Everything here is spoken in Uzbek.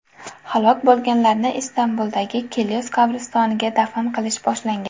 Halok bo‘lganlarni Istanbuldagi Kilyos qabristoniga dafn qilish boshlangan.